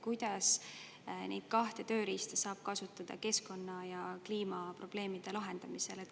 Kuidas neid kahte tööriista saab kasutada keskkonna‑ ja kliimaprobleemide lahendamisel?